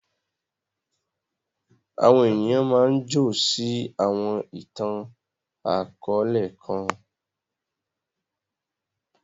Àwọn ènìyàn máa ǹ jọ̀ sí awọn itan-akọọlẹ kan.